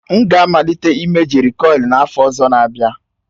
M ga-amalite ịme jerịkọil n'afọ ọzọ n'abia.